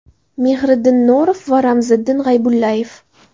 Mehriddin Norov va Ramziddin G‘aybullayev.